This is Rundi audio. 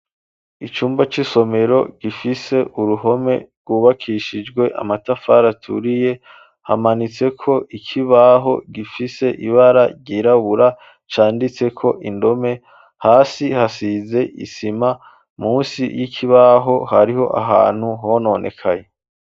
Icumba c'isomero gifise uruhome rwubakishijwe amatafara turiye hamanitse ko ikibaho gifise ibara ryirabura canditse ko indome. Hasi hasize isima munsi y'ikibaho hariho ahantu hononekaye.